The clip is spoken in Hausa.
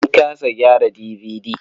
Mun kasa gyara DVD.